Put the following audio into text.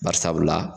Bari sabula